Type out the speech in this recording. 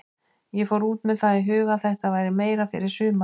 Ég fór út með það í huga að þetta væri meira fyrir sumarið.